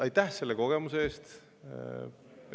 Aitäh selle kogemuse eest!